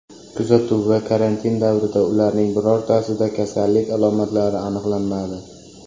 Kuzatuv va karantin davrida ularning birortasida kasallik alomatlari aniqlanmadi.